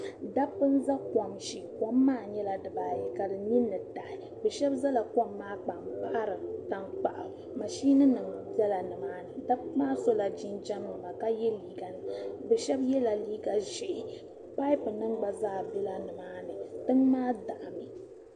Dabba za kom shee kom maa nyɛla dibaayi ka nini taɣi do'shɛba gbaari tankpaɣu maʒinima bɛla ni maani do'shɛba sola jinjɛm ka ye yela liiganima dabba shɛba yela liiga ʒee pabunima gba bɛla nimaani tiŋ maa daɣimi